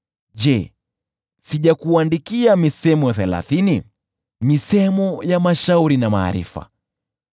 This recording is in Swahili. Je, sijakuandikia misemo thelathini, misemo ya mashauri na maarifa,